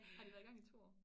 Har de været i gang i 2 år?